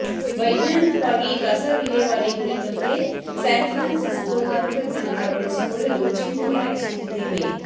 ವೈಜ್ಞಾನಿಕವಾಗಿ ಕಸ ವಿಲೇವಾರಿ ಕುರಿತಂತೆ ಸ್ಯಾನ್ಫ್ರಾನ್ಸಿಸ್ಕೋ ತಂತ್ರಜ್ಞಾನ ಅಳವಡಿಸಿಕೊಳ್ಳಲು ಚಿಂತನೆ ನಡೆಸುತ್ತಿದ್ದೇವೆ